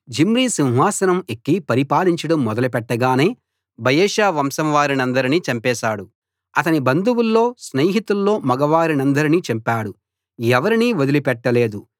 Zimri సింహాసనం ఎక్కి పరిపాలించడం మొదలు పెట్టగానే బయెషా వంశం వారందరినీ చంపేశాడు అతని బంధువుల్లో స్నేహితుల్లో మగవారినందరినీ చంపాడు ఎవరినీ వదిలిపెట్టలేదు